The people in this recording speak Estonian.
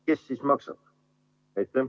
Kes siis maksab?